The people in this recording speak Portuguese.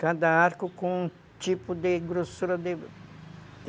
Cada arco com um tipo de grossura de